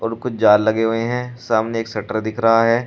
और कुछ जाल लगे हुए हैं सामने एक शटर दिख रहा है।